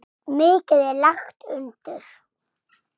Mikið er lagt undir.